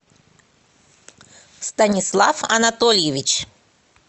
станислав анатольевич